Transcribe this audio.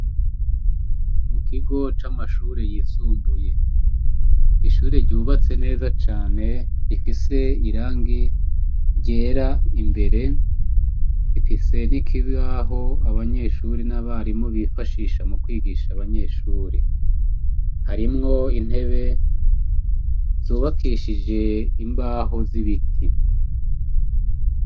Mu kigo c'amashure yisumbuye, ishure ryubatse neza cane rifise irangi ryera cane imbere rifise n'ikibaho abanyeshure n 'abarimu bifashisha mu kwigisha abanyeshuri, harimwo intebe zubakishije Imbaho z'ibiti.